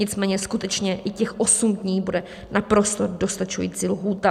Nicméně skutečně i těch osm dní bude naprosto dostačující lhůta.